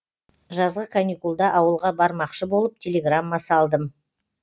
жазғы каникулда ауылға бармақшы болып телеграмма салдым